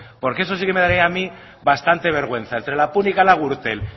porque eso sí que me daría a mí bastante vergüenza entre la púnica y la gürtel